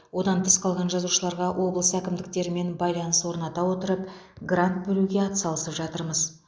одан тыс қалған жазушыларға облыс әкімдіктерімен байланыс орната отырып грант бөлуге ат салысып жатырмыз